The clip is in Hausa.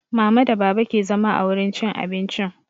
Mama da baba ke zama a wurin cin abincin